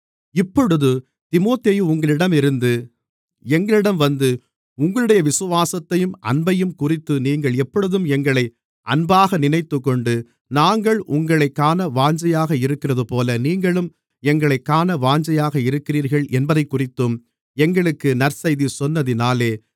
இப்பொழுது தீமோத்தேயு உங்களிடமிருந்து எங்களிடம் வந்து உங்களுடைய விசுவாசத்தையும் அன்பையும்குறித்து நீங்கள் எப்பொழுதும் எங்களை அன்பாக நினைத்துக்கொண்டு நாங்கள் உங்களைக் காண வாஞ்சையாக இருக்கிறதுபோல நீங்களும் எங்களைக் காண வாஞ்சையாக இருக்கிறீர்கள் என்பதைக்குறித்தும் எங்களுக்கு நற்செய்தி சொன்னதினாலே